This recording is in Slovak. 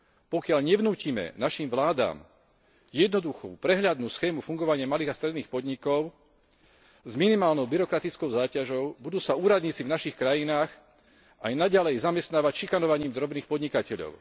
Pokiaľ nevnútime našim vládam jednoduchú prehľadnú schému fungovania malých a stredných podnikov s minimálnou byrokratickou záťažou, budú sa úradníci v našich krajinách aj naďalej zamestnávať šikanovaním drobných podnikateľov.